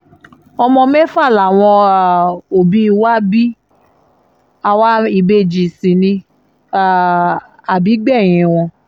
ọmọ mẹ́fà làwọn um òbí wa bí àwa ìbejì sí ní um àbígbẹ̀yìn wọn